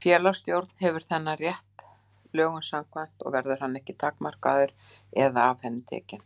Félagsstjórn hefur þennan rétt lögum samkvæmt og verður hann ekki takmarkaður eða af henni tekinn.